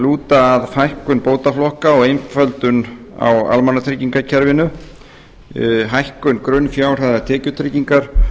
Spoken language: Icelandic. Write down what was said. lúta að fækkun bótaflokka og einföldun á almannatryggingakerfinu hækkun grunnfjárhæðar tekjutryggingar